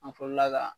An fɔlɔla ka